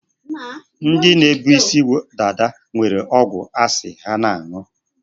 Ndi na-ebu isi dada nwere ọgwụ asị ha na-aṅụ.